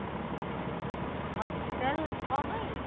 hospital କଣ ପାଇଁ?